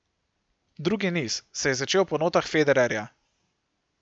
Drugi niz se je začel po notah Federerja.